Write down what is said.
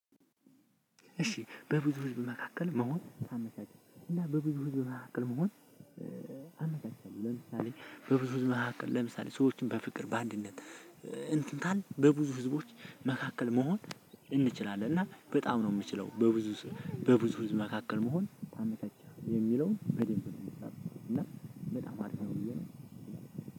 እሺ በብዙ ህዝብ መካከል መሆን አመቻችም እና በብዙ ህዝብ መካከል መሆን። አመቻችም ለምሳሌ በብዙ ህዝብ መካከል ለምሳሌ ሰዎችን በፍቅር በአንድነት እንትንታን በብዙ ህዝቦች መካከል መሆን። እንችላለን እና በጣም ነው የምችለው በብዙ በብዙ ህዝብ መካከል መሆን ታመታቸዋለህ የሚለው በደንብ ነው የምትለው እና በጣም አሪፍ ነው የምትለው።